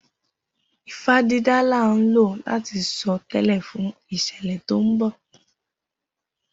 Ifá dídá là ń lò láti sọ tẹ́lẹ̀ fún ìṣẹ̀lẹ̀ tó ń bọ̀.